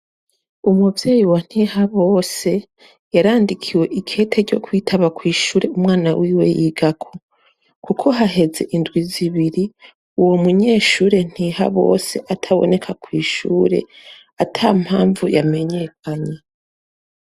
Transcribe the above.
Umuvyeyi wa Ntihabose yarandikiwe ikete ryo kwitaba kw'ishure umwana wiwe yigako. Kuko haheze indwi zibiri uwo munyeshure Ntihabose ataboneka kw'ishure, ata mpamvu yamenyekanye.